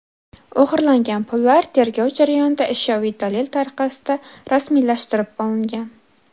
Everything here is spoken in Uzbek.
O‘g‘irlangan pullar tergov jarayonida ashyoviy dalil tariqasida rasmiylashtirib olingan.